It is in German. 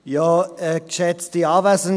Danke, wenn Sie dies ablehnen.